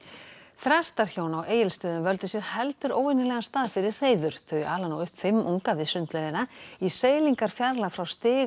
þrastarhjón á Egilsstöðum völdu sér heldur óvenjulegan stað fyrir hreiður þau ala nú upp fimm unga við sundlaugina í seilingarfjarlægð frá stiga